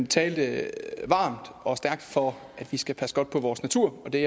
talte varmt og stærkt for at vi skal passe godt på vores natur og det